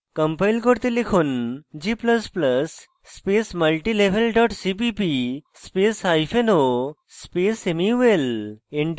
compile করতে লিখুন g ++ space multilevel dot cpp spaceo space mul